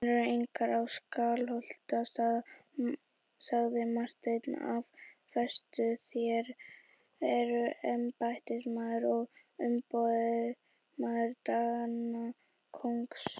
Varnir eru engar á Skálholtsstað, sagði Marteinn af festu,-þér eruð embættismaður og umboðsmaður Danakonungs.